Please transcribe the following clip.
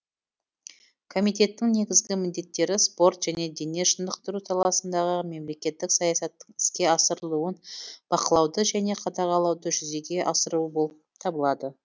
комитеттің негізгі міндеттері спорт және дене шынықтыру саласындағы мемлекеттік саясаттың іске асырылуын бақылауды және қадағалауды жүзеге асыру болып табылады